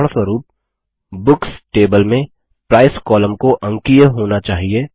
उदाहरणस्वरुप books table में price column को अंकीय होना चाहिए